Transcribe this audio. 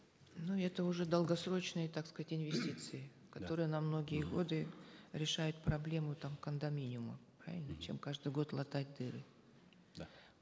ну это уже долгосрочные так сказать инвестиции которые на многие годы решают проблему там кондоминиума правильно чем каждый год латать дыры да